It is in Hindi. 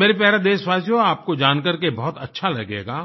मेरे प्यारे देशवासियो आपको जानकर के बहुत अच्छा लगेगा